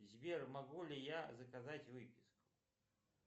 сбер могу ли я заказать выписку